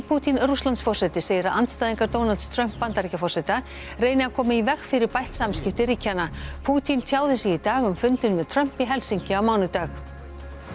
Pútín Rússlandsforseti segir að andstæðingar Donalds Trump Bandaríkjaforseta reyni að koma í veg fyrir bætt samskipti ríkjanna Pútín tjáði sig í dag um fundinn með Trump í Helsinki á mánudag